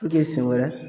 siɲɛ wɛrɛ